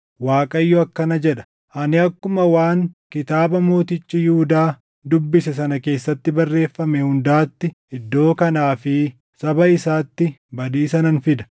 ‘ Waaqayyo akkana jedha: Ani akkuma waan kitaaba mootichi Yihuudaa dubbise sana keessatti barreeffame hundaatti iddoo kanaa fi saba isaatti badiisa nan fida.